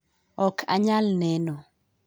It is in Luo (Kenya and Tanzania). ok anyal neno.